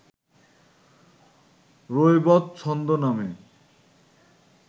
রৈবত ছন্দ নামে